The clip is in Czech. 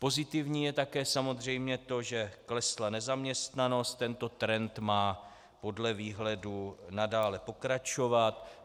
Pozitivní je také samozřejmě to, že klesla nezaměstnanost, tento trend má podle výhledu nadále pokračovat.